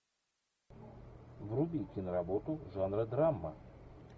вруби киноработу жанра драма